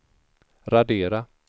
radera